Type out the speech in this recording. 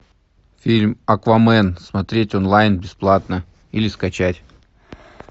фильм аквамен смотреть онлайн бесплатно или скачать